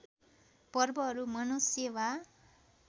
पर्वहरू मनुष्य वा